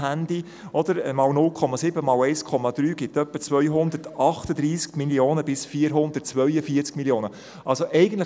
Man kommt auf einen Betrag zwischen rund 238 Mio. und 442 Mio. Franken.